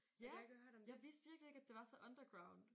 Ja! Jeg vidste virkelig ikke at det var så underground